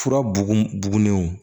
Fura bugulenw